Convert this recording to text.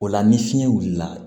O la ni fiɲɛ wulila